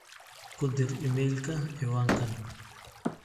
ku dir iimaylka ciwaankaan